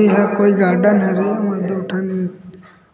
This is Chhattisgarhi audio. एहा कोई गार्डन हरे अउ दु ठन